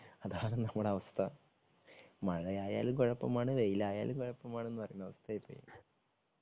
അതാണ് നമ്മളുടെ അവസ്ഥ. മഴയായാലും കുഴപ്പമാണ്. വെയിലായാലും കുഴപ്പമാണ്. എന്നു പറയുന്ന അവസ്ഥയായി പോയി